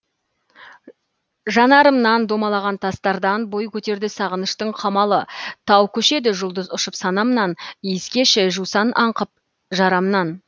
жанарымнан домалаған тастардан бой көтерді сағыныштың қамалы тау көшеді жұлдыз ұшып санамнан иіскеші жусан аңқып жарамнан